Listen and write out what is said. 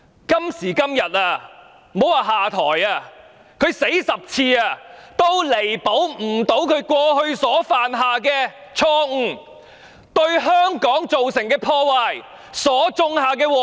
今時今日，莫說下台，即使她死10次也彌補不了所犯下的錯誤、對香港造成的破壞，以及所種下的禍根。